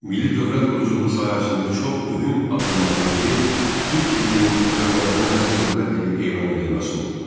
Milli dövlət quruculuğu sahəsində çox mühüm addımlardan biri türk dilinin Azərbaycanın rəsmi dövlət dili elan edilməsi oldu.